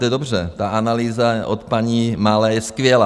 To je dobře, ta analýza od paní Malé je skvělá.